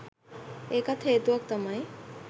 ඒකත් හේතුවක් තමයි.